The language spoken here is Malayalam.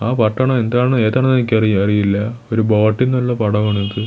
ആ പട്ടണം എന്താണ് ഏതാണ് എനിക്ക് അറി അറിയില്ല ഒരു ബോട്ടിന്നുള്ള പടമാണിത്.